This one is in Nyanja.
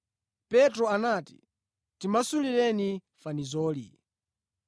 Petro anati, “Timasulireni fanizoli.”